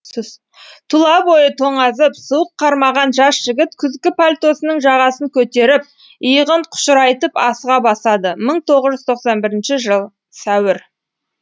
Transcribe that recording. тұла бойы тоңазып суық қармаған жас жігіт күзгі пальтосының жағасын көтеріп иығын қушырайтып асыға басады мың тоғыз жүз тоқсан бірінші жыл сәуір